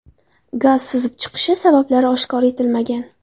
Gaz sizib chiqishi sabablari oshkor etilmagan.